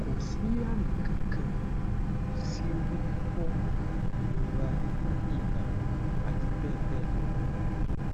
ko si ami kan kan ko si ori fifo irora iba àti bẹ́ẹ̀ bẹ́ẹ̀ lọ.